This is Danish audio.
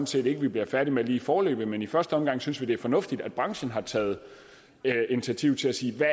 set ikke vi bliver færdige med lige foreløbig men i første omgang synes vi det er fornuftigt at branchen har taget initiativ til at sige hvad